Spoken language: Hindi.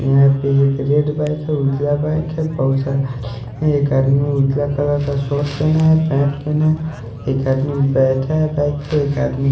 यहां पे एक रेड बाइक है उजला बाइक है बहुत सारा एक आदमी उजला कलर का शर्ट पहना है पैट पहना है एक आदमी बैठा है बाइक पे एक आदमी--